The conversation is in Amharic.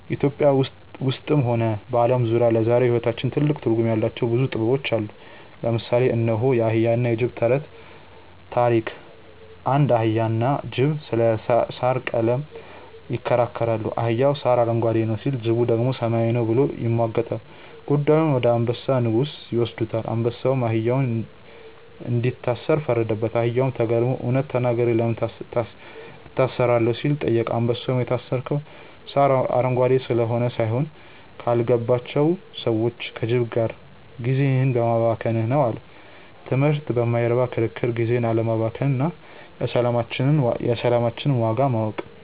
ኢትዮጵያ ውስጥም ሆነ በዓለም ዙሪያ ለዛሬው ሕይወታችን ትልቅ ትርጉም ያላቸው ብዙ ጥበቦች አሉ። ለምሳሌ እነሆ፦ የአህያና የጅብ ተረት (ታሪክ) አንድ አህያና ጅብ ስለ ሣር ቀለም ይከራከራሉ። አህያው "ሣር አረንጓዴ ነው" ሲል፣ ጅቡ ደግሞ "ሰማያዊ ነው" ብሎ ይሟገታል። ጉዳዩን ወደ አንበሳ (ንጉሡ) ይወስዱታል። አንበሳውም አህያውን እንዲታሰር ፈረደበት። አህያውም ተገርሞ "እውነት ተናግሬ ለምን እታሰራለሁ?" ሲል ጠየቀ። አንበሳውም "የታሰርከው ሣር አረንጓዴ ስለሆነ ሳይሆን፣ ካልገባቸው ሰዎች (ከጅብ) ጋር ጊዜህን በማባከንህ ነው" አለው። ትምህርቱ በማይረባ ክርክር ጊዜን አለማባከን እና የሰላማችንን ዋጋ ማወቅ።